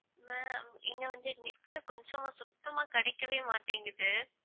ma'am இங்க வந்து net கொஞ்சமா சுத்தமா கிடைக்கவே மாட்டிங்கிது